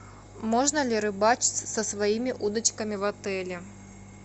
можно ли рыбачить со своими удочками в отеле